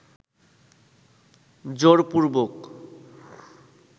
জোরপূর্বক